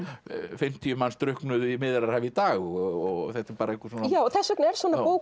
fimmtíu manns drukknuðu í Miðjarðarhafi í dag og þetta er bara einhver svona þess vegna er svona bók